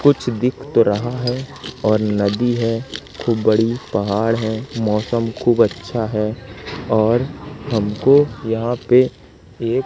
कुछ दिख तो रहा है और नदी है खूब बड़ी पहाड़ है मौसम खूब अच्छा है और हमको यहां पे एक--